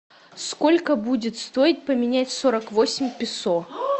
сколько будет стоить поменять сорок восемь песо